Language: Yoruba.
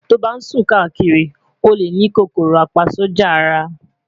to ban sun kakiri, o le ni KòkòròApaSójà Ara